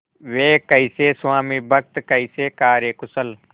वे कैसे स्वामिभक्त कैसे कार्यकुशल